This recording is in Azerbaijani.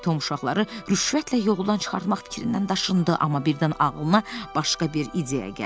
Tom uşaqları rüşvətlə yoldan çıxartmaq fikrindən daşındı, amma birdən ağlına başqa bir ideya gəldi.